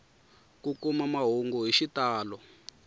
ku kuma mahungu hi xitalo